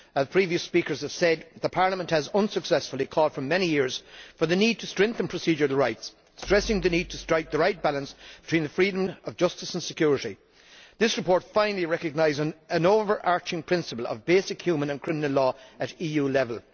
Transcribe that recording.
As previous speakers have said, Parliament has unsuccessfully called for many years for the need to strengthen procedural rights, stressing the need to strike the right balance between the freedom of justice and security. This report finally recognises an overarching principle of basic human and criminal law at EU level.